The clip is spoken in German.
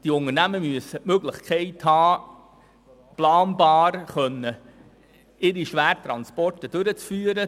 Die Unternehmen brauchen die Möglichkeit, ihre Schwertransporte planbar durchzuführen.